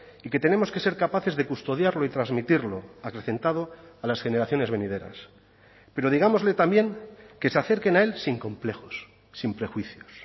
y que tenemos que ser capaces de custodiarlo y transmitirlo acrecentado a las generaciones venideras pero digámosle también que se acerquen a él sin complejos sin prejuicios